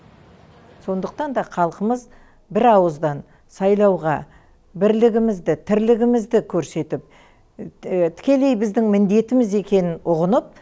сондықтан да халқымыз бір ауыздан сайлауға бірлігімізді тірлігімізді көрсетіп тікелей біздің міндетіміз екенін ұғынып